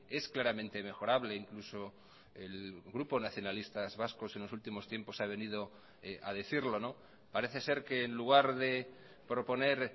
es claramente mejorable incluso el grupo nacionalistas vascos en los últimos tiempos ha venido a decirlo parece ser que en lugar de proponer